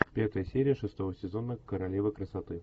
пятая серия шестого сезона королева красоты